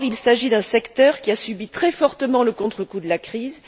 Or, il s'agit d'un secteur qui a subi très fortement le contrecoup de la crise.